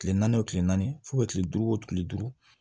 Kile naani o kile naani fo ka kile duuru o kile duuru